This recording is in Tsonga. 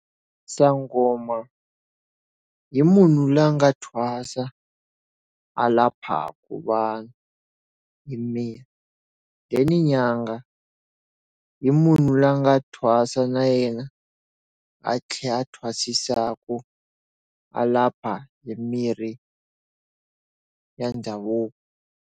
Sangoma i munhu loyi nga thwasa a laphaka vanhu hi mirhi. Then nyanga i munhu loyi a nga thwasa na yena, a tlhela thwasisaku, a lapha hi mirhi ya ndhavuko.